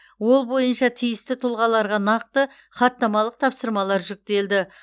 ол бойынша тиісті тұлғаларға нақты хаттамалық тапсырмалар жүктелді